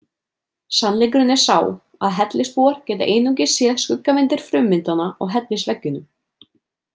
Sannleikurinn er sá að hellisbúar geta einungis séð skuggamyndir frummyndanna á hellisveggjunum.